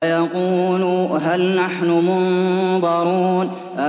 فَيَقُولُوا هَلْ نَحْنُ مُنظَرُونَ